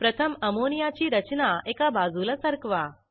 प्रथम अमोनियाची रचना एका बाजूला सरकवा